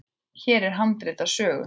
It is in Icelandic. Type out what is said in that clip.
Hér er handrit að sögu.